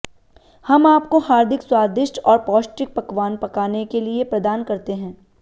हम आपको हार्दिक स्वादिष्ट और पौष्टिक पकवान पकाने के लिए प्रदान करते हैं